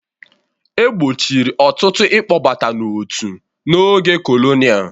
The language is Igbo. E gbochiri ọtụtụ ịkpọbata n'otu n'oge kolonial.